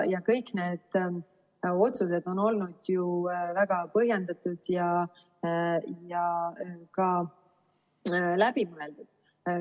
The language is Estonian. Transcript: Kõik need otsused on olnud ju väga põhjendatud ja läbimõeldud.